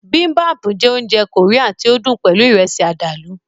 Bibimbap jẹ́ oúnjẹ Korean tí ó dùn pẹlú Ìrẹ́sì àdàlù